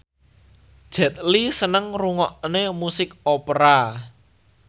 Jet Li seneng ngrungokne musik opera